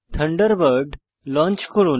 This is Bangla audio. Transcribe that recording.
থান্ডারবার্ড লঞ্চ করুন